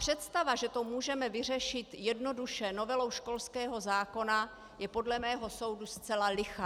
Představa, že to můžeme vyřešit jednoduše novelou školského zákona, je podle mého soudu zcela lichá.